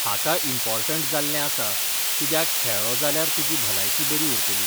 हाका इम्पोर्टंट जाल्लें आसा कित्याक खेळ्ळो जाल्यार तुजी भलायकी बरी उरतली.